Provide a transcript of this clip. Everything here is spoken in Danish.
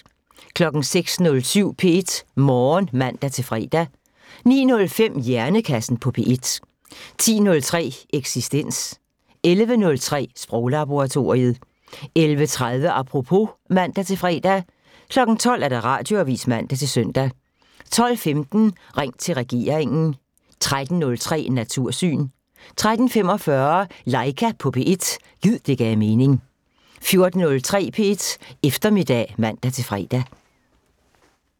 06:07: P1 Morgen (man-fre) 09:05: Hjernekassen på P1 10:03: Eksistens 11:03: Sproglaboratoriet 11:30: Apropos (man-fre) 12:00: Radioavisen (man-søn) 12:15: Ring til regeringen 13:03: Natursyn 13:45: Laika på P1 – gid det gav mening 14:03: P1 Eftermiddag (man-fre)